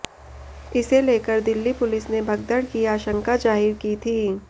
इसे लेकर दिल्ली पुलिस ने भगदड़ की आशंका जाहिर की थी